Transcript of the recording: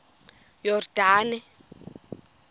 yordane